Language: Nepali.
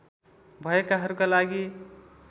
भएकाहरूका लागि